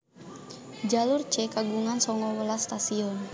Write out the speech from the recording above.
Jalur C kagungan sanga welas stasiun